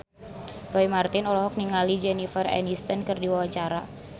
Roy Marten olohok ningali Jennifer Aniston keur diwawancara